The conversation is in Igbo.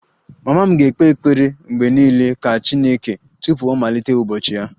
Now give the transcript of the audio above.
Mama m ga-ekpe ekpere mgbe niile ka 'chineke' tupu ọ malite ụbọchị ya